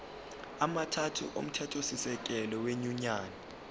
amathathu omthethosisekelo wenyunyane